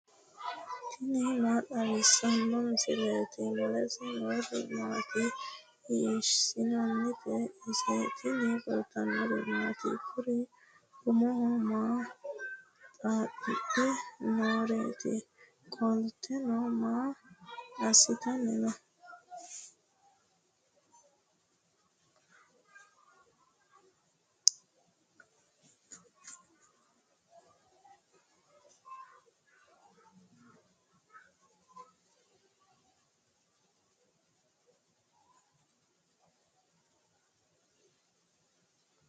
tini maa xawissanno misileeti ? mulese noori maati ? hiissinannite ise ? tini kultannori maati? Kuri umoho maa xaaxidhe nooreetti? qolittenno maa asittanni noo?